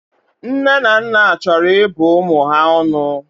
Nne na naa achoro ibu umu ya onu.